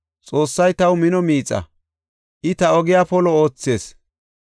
Xoossay taw mino miixaa; I ta ogiya polo oothees.